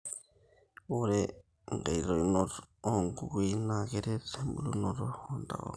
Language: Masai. Ore inkaitainoto oo guguin na kiret ebulonoto oo ntapuka